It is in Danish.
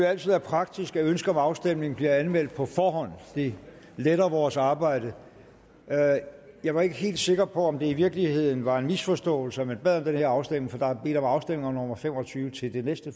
altid er praktisk at ønske om afstemning bliver anmeldt på forhånd det letter vores arbejde jeg var ikke helt sikker på om det i virkeligheden var en misforståelse at man bad om den her afstemning for der er bedt om afstemning nummer fem og tyve til det næste